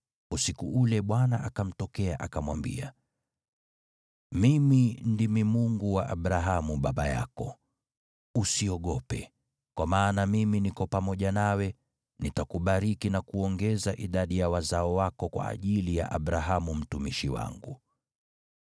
Usiku ule Bwana akamtokea, akamwambia, “Mimi ndimi Mungu wa Abrahamu baba yako. Usiogope, kwa maana mimi niko pamoja nawe, nitakubariki na kuongeza idadi ya wazao wako kwa ajili ya Abrahamu mtumishi wangu.”